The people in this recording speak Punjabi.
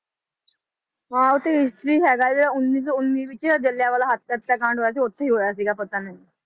ਹਾਂ ਉੱਥੇ history ਹੈਗਾ ਵਾ ਉੱਨੀ ਸੌ ਉੱਨੀ ਵਿੱਚ ਜ਼ਿਲਿਆ ਵਾਲਾ ਹੱਤਿਆ ਕਾਂਡ ਹੋਇਆ ਸੀ, ਉੱਥੇ ਹੀ ਹੋਇਆ ਸੀਗਾ ਪਤਾ ਨੀ।